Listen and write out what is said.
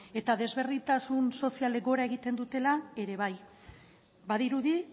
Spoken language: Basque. eta desberdintasun sozialek gora egiten dutela ere bai badirudi